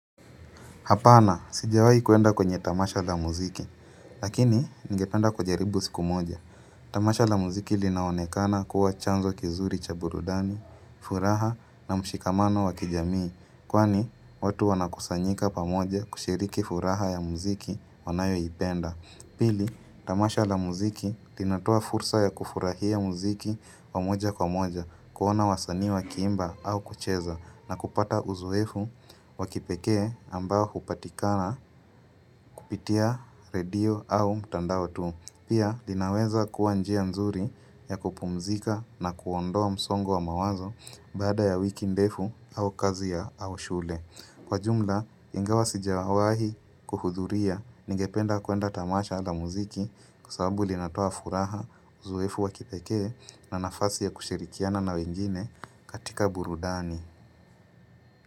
Hapana, sijawahi kuenda kwenye tamasha la muziki, lakini ningependa kujaribu siku moja. Tamasha la muziki linaonekana kuwa chanzo kizuri cha burudani, furaha na mshikamano wa kijamii. Kwani, watu wanakusanyika pamoja kushiriki furaha ya muziki wanayoipenda. Pili, tamasha la muziki linatoa fursa ya kufurahia muziki wa moja kwa moja, kuona wasanii wakiimba au kucheza na kupata uzoefu wa kipekee ambao hupatikana kupitia radio au mtandao tu. Pia, linaweza kuwa njia nzuri ya kupumzika na kuondoa msongo wa mawazo baada ya wiki ndefu au kazi ya au shule. Kwa jumla, ingawa sijawahi kuhudhuria ningependa kuenda tamasha la muziki kwa sababu linatoa furaha uzoefu wa kipekee na nafasi ya kushirikiana na wengine katika burudani.